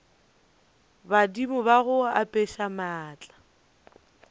badimo ba go apeša maatla